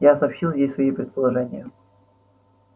я сообщил ей свои предположения